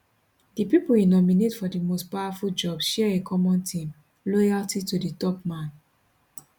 di pipo e nominate for di most powerful jobs share a common theme loyalty to di top man